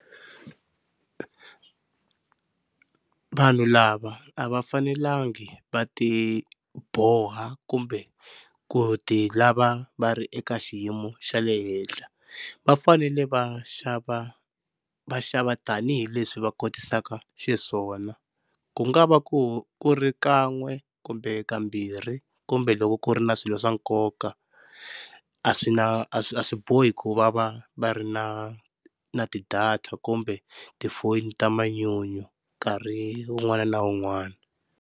Vanhu lava a va fanelangi va ti boha kumbe ku ti lava va ri eka xiyimo xa le henhla, va fanele va xava va xava tanihileswi va kotisaka xiswona ku nga va ku ku ri kan'we kumbe kambirhi kumbe loko ku ri na swilo swa nkoka. A swi na a swi a swi bohi ku va va va ri na na ti-data kumbe tifoni ta manyunyu nkarhi un'wana na un'wana.